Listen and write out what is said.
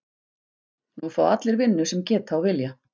Nú fá allir vinnu sem geta og vilja.